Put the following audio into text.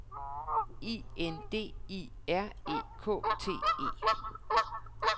I N D I R E K T E